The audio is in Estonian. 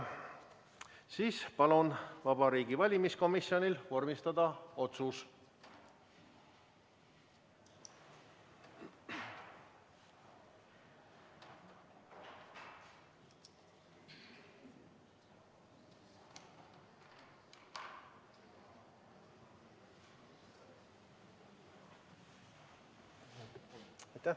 Siis palun Vabariigi Valimiskomisjonil vormistada otsus.